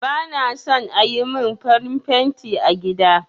Ba na son ayi mun farin fenti a gida